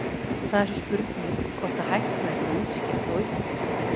Það er svo spurning hvort að hægt væri að útskýra þá upplifun.